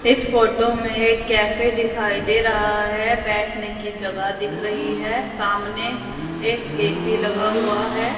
इस फोटो में एक कैफे दिखाई दे रहा है। बैठने की जगह दिख रही है। सामने एक ए_सी लगा हुआ है।